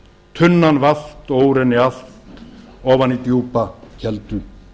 tunnan valt og úr henni allt ofan í djúpa keldu